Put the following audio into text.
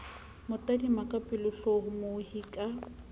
mo tadima ka pelotlhomohi ka